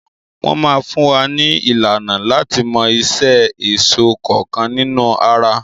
Wọn máa fún wa ní ìlànà láti mọ iṣẹ́ èso kọọ́kan nínú ara.